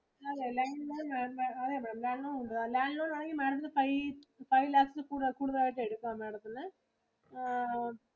അല്ല land loan അതല്ല land loan ആണെങ്കിൽ Madam ത്തിനു five lakhs ഇൽ കുടുതലായിട്ട് എടുക്കാം madam ത്തിനു